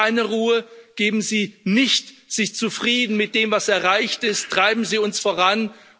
Geben Sie keine Ruhe, geben Sie sich nicht zufrieden mit dem, was erreicht ist, treiben Sie uns voran!